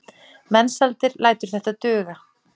Mensalder lætur þetta duga.